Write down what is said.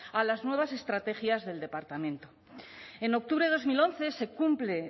a las nuevas estrategias del departamento en octubre de dos mil once se cumple